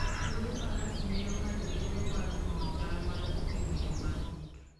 Wuodh faras miyo ng'ato thuolo mar nono chal mar thim e yo matut.